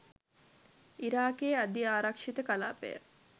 ඉරාකයේ අධිආරක්ෂිත කලාපය